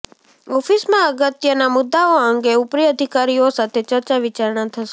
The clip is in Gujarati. ઓફિસમાં અગત્યના મુદ્દાઓ અંગે ઉપરી અધિકારીઓ સાથે ચર્ચા વિચારણા થશે